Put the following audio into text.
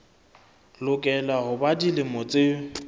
lokela ho ba dilemo tse